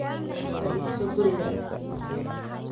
Fadhiiso guriga agtiisa